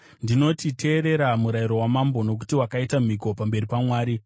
Ndinoti, teerera murayiro wamambo, nokuti wakaita mhiko pamberi paMwari.